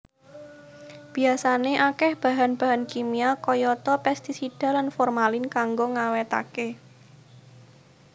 Biyasané akéh bahan bahan kimia kayata pestisida lan formalin kanggo ngawétaké